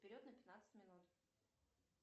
вперед на пятнадцать минут